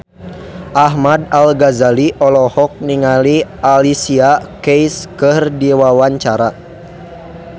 Ahmad Al-Ghazali olohok ningali Alicia Keys keur diwawancara